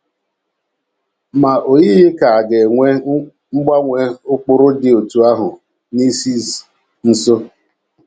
Ma o yighị ka a ga - enwe mgbanwe ụkpụrụ dị otú ahụ n’isi nso.